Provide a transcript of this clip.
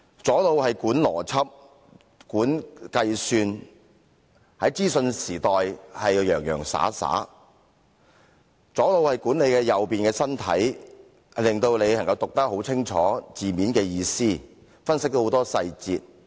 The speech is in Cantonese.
左腦管理邏輯、計算，在資訊時代要洋洋灑灑；左腦亦管理右邊的身體，令自己能清楚解讀字面的意思，分析很多細節。